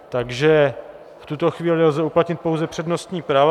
Takže v tuto chvíli lze uplatnit pouze přednostní práva.